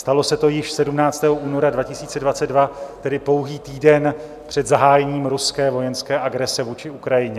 Stalo se to již 17. února 2022, tedy pouhý týden před zahájením ruské vojenské agrese vůči Ukrajině.